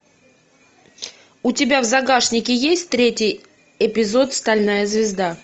у тебя в загашнике есть третий эпизод стальная звезда